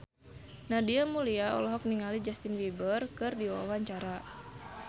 Nadia Mulya olohok ningali Justin Beiber keur diwawancara